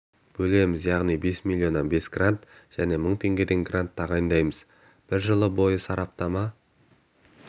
бөлеміз яғни бес миллионнан бес грант және мың теңгеден грант тағайындаймыз бір жыл бойы сараптама